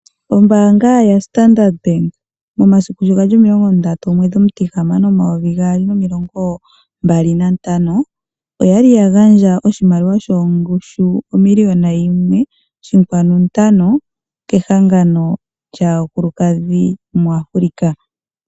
Ombaanga yaStandard Bank, momasiku sho gali 30.06.2025. Oya li ya gandja oshimaliwa shongushu o 1 5000 000.00 kehangano lyaakulukadhi mu Africa.